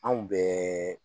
Anw bɛ